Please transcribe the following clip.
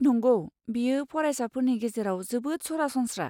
नंगौ, बेयो फरायसाफोरनि गेजेराव जोबोद सरासनस्रा।